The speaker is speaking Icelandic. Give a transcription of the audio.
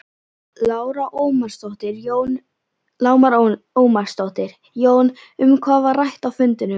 Lára Ómarsdóttir: Jón, um hvað var rætt á fundinum?